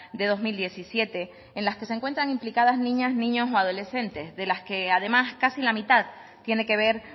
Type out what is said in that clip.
de dos mil diecisiete en las que se encuentran implicadas niñas niños o adolescentes de las que además casi la mitad tiene que ver